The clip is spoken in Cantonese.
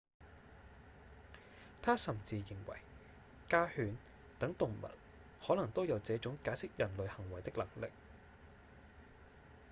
他甚至認為家犬等動物可能都有這種解釋人類行為的能力